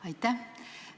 Aitäh!